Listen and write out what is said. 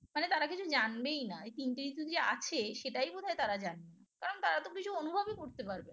মানে তারা কিছু জানবেই না এই তিনটে ঋতু যে আছে সেটাই বোধহয় তারা জানবে কারণ তারা তো কিছু অনুভবই করতে পারবে না